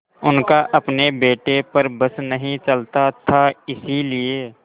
उनका अपने बेटे पर बस नहीं चलता था इसीलिए